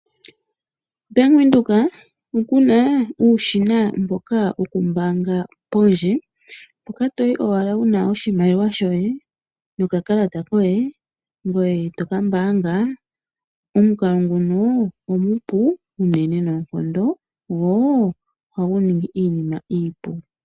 Bank Windhoek okuna uushina wokuumbaanga pondje mpoka toyi owala wuna oshimaliwa shoye nokakalata koye ngoye toka mbaanga. Omukalo nguno omupu uunene noonkondo go ohagu ningi iinima iipu.